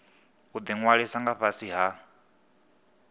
u ṅwaliswa nga fhasi ha